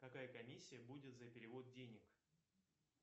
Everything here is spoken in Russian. какая комиссия будет за перевод денег